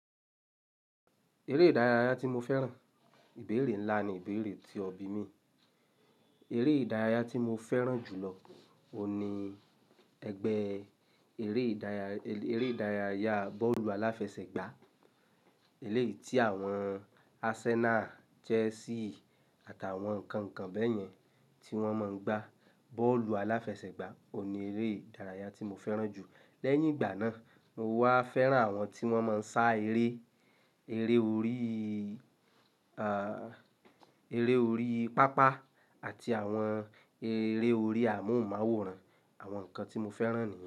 Eré ìdárayá tí mo fẹ́ràn, ìbéèrè ńlá ni ìbéèrè tí ọbí mi. Eré ìdárayá tí mo fẹ́ràn jù lọ ní ẹgbẹ́ eré ìdárayá, eré ìdárayá bọ́ọ̀lù aláfẹsẹ̀gbá. Eléyìí tí àwọn Arsenal, Chelsea àtàwọn ǹkan kan bẹ́yẹn tí wọ́n máa ń gba bọ́ọ̀lù aláfẹsẹ̀gbá ò ní eré ìdárayá tí mo fẹ́ràn jù. Lẹ́yìn ìgbà náà, mo wá fẹ́ràn àwọn tí wọ́n máa ń sá eré, eré orí, er orí pápá àti àwọn eré orí amóhùnmáwòrán. Àwọn nǹkan tí mo fẹ́ràn ni.